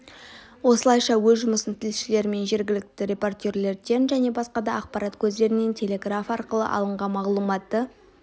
осылайша өз жұмысын тілшілер мен жергілікті репортерлерден және басқа да ақпарат көздерінен телеграф арқылы алынған мағлұматты